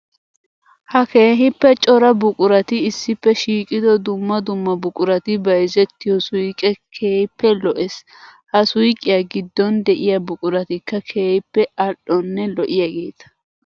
Ha keehippe cora buquratti issippe shiiqiddo dumma dumma buquratti bayzzettiyo suyqqe keehippe lo'ees. Ha suyqqiya gidon de'iya buquratikka keehippe ali'onne lo'iyaagetta.